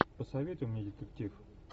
посоветуй мне детектив